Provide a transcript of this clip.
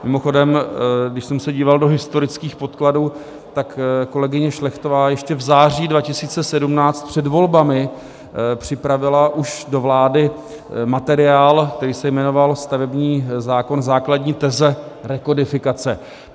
Mimochodem, když jsem se díval do historických podkladů, tak kolegyně Šlechtová ještě v září 2017 před volbami připravila už do vlády materiál, který se jmenoval Stavební zákon - základní teze rekodifikace.